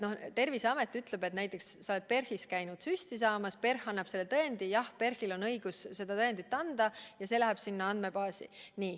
Näiteks sa oled PERH-is käinud süsti saamas, PERH annab selle tõendi, ja Terviseamet ütleb, et jah, PERH-il on õigus seda tõendit anda, ja see läheb sinna andmebaasi.